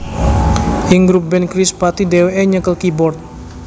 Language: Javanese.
Ing grup band Krispatih dhèwèké nyekel keyboard